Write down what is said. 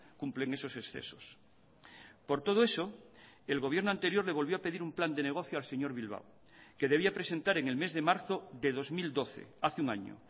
cumplen esos excesos por todo eso el gobierno anterior le volvió a pedir un plan de negocio al señor bilbao que debía presentar en el mes de marzo de dos mil doce hace un año